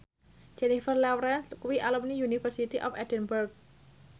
Jennifer Lawrence kuwi alumni University of Edinburgh